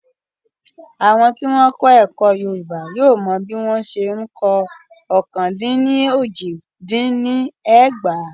Àwọn tí wọ́n kọ́ ẹ̀kọ́ Yorùbá yóò mọ bí wọ́n ṣe ń kọ ọ́kàn-dín-ní-ójì-dín-ní-ẹgbàá.